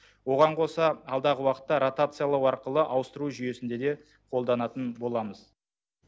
оған қоса алдағы уақытта ротациялау арқылы ауыстыру жүйесінде де қолданатын боламыз